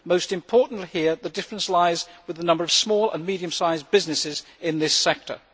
Most importantly here, the difference lies with the number of small and medium sized businesses in this sector.